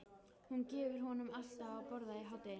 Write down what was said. Hún gefur honum alltaf að borða í hádeginu.